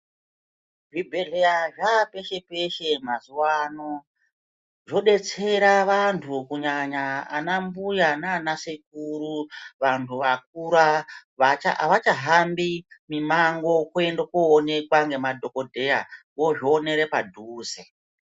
Zvibhedhleya zvaapeshe peshe mazuwaano zvodetsera vanthu kunyanya ana mbuya nana sekuru vanthu vakura avachahambi mimango kuende koonekwa ngemadhokodheya vozvionera padhuze.